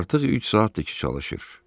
Artıq 3 saatdır ki çalışır.